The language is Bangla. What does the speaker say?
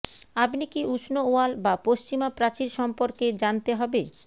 আপনি কি উষ্ণ ওয়াল বা পশ্চিমা প্রাচীর সম্পর্কে জানতে হবে